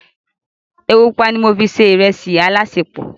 Epo pupa ni mo fi se ìrẹsì alásèpọ̀.